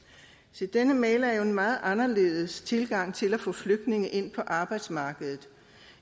se denne mail er jo en meget anderledes tilgang til at få flygtninge ind på arbejdsmarkedet